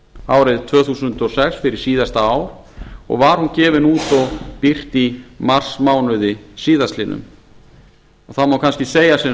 árið tvö þúsund og sex fyrir síðasta ár og var hún gefin út og birt í marsmánuði síðastliðnum það má kannski segja sem